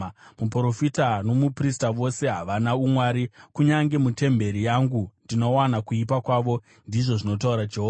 “Muprofita nomuprista vose havana umwari; kunyange mutemberi yangu ndinowana kuipa kwavo,” ndizvo zvinotaura Jehovha.